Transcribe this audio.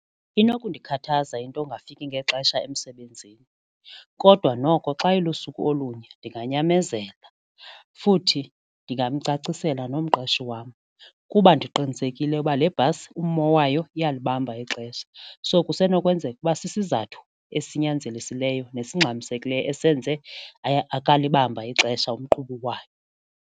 Inokundikhathaza into yongafiki ngexesha emsebenzini kodwa noko xa ilusuku olunye ndinganyamezela futhi ndingamcacisela nomqeshi wam kuba ndiqinisekile uba le bhasi ummo wayo iyalibamba ixesha. So kusenokwenzeka ukuba sisizathu esinyanzelisileyo nesingxamisekileyo esenze akalibamba ixesha umqhubi wayo.